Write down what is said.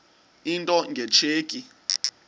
into nge tsheki